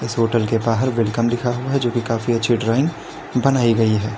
इस होटल के बाहर वेलकम लिखा हुआ है जो कि काफी अच्छी ड्राइंग बनाई गई है।